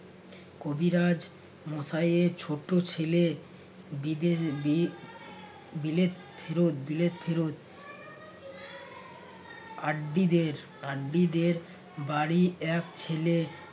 কবিরাজ মশাইয়ের ছোট ছেলে বিদেশ বি~ বিলেত ফেরত বিলেত ফেরত আড্ডিদের আড্ডিদের বাড়ির এক ছেলে